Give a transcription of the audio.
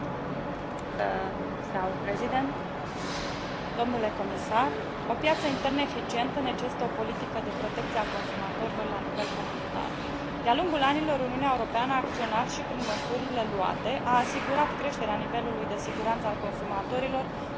O piață internă eficientă necesită o politică de protecție a consumatorilor la nivel comunitar. De a lungul anilor, Uniunea Europeană a acționat și, prin măsurile luate, a asigurat creșterea nivelului de siguranță al consumatorilor și în domenii precum pachetele de servicii turistice și drepturile călătorilor.